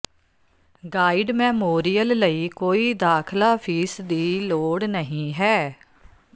guide memorial ਲਈ ਕੋਈ ਦਾਖ਼ਲਾ ਫੀਸ ਦੀ ਲੋੜ ਨਹੀਂ ਹੈ